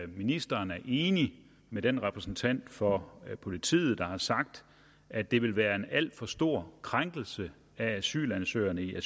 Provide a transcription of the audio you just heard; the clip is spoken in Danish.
ministeren er enig med den repræsentant for politiet der har sagt at det vil være en alt for stor krænkelse af asylansøgerne i